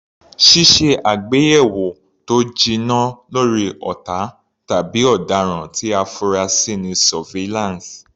Ṣíṣe àgbéyẹ̀wò tó jinná lórí ọ̀tá tàbí ọ̀daràn tí a fura sí ni Surveillance.